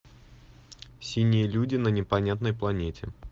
синие люди на непонятной планете